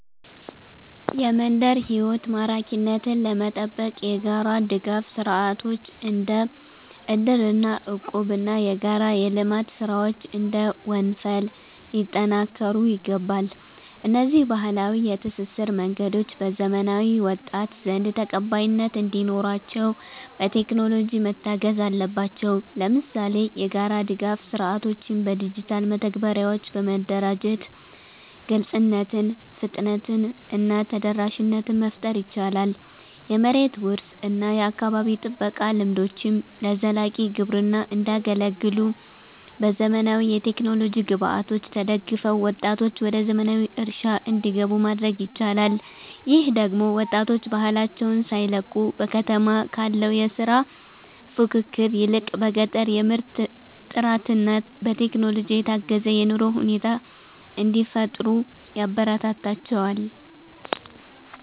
የመንደር ሕይወት ማራኪነትን ለመጠበቅ የጋራ ድጋፍ ሥርዓቶች (እንደ እድርና እቁብ) እና የጋራ የልማት ሥራዎች (እንደ ወንፈል) ሊጠናከሩ ይገባል። እነዚህ ባህላዊ የትስስር መንገዶች በዘመናዊው ወጣት ዘንድ ተቀባይነት እንዲኖራቸው፣ በቴክኖሎጂ መታገዝ አለባቸው። ለምሳሌ፣ የጋራ ድጋፍ ሥርዓቶችን በዲጂታል መተግበሪያዎች በማደራጀት ግልጽነትን፣ ፍጥነትን እና ተደራሽነትን መፍጠር ይቻላል። የመሬት ውርስ እና የአካባቢ ጥበቃ ልምዶችም ለዘላቂ ግብርና እንዲያገለግሉ፣ በዘመናዊ የቴክኖሎጂ ግብዓቶች ተደግፈው ወጣቶች ወደ ዘመናዊ እርሻ እንዲገቡ ማድረግ ይቻላል። ይህ ደግሞ ወጣቶች ባህላቸውን ሳይለቁ፣ በከተማ ካለው የሥራ ፉክክር ይልቅ በገጠር የምርት ጥራትና በቴክኖሎጂ የታገዘ የኑሮ ሁኔታ እንዲፈጥሩ ያበረታታቸዋል